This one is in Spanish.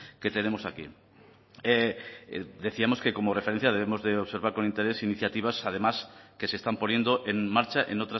que tenemos aquí decíamos que como referencia debemos de observar con interés iniciativas además que se están poniendo en marcha en